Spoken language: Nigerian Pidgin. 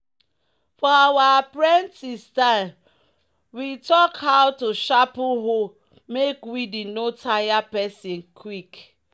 "for our apprentice time we talk how to sharpen hoe make weeding no tire person quick."